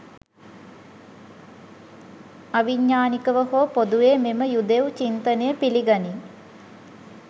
අවිඥානිකව හෝ පොදුවේ මෙම යුදෙව් චින්තනය පිළිගනී